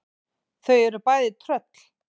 Þau eru bæði tröll.